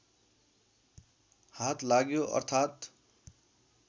हात लाग्यो अर्थात्